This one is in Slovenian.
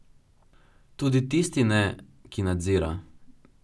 Tudi tisti ne, ki nadzira.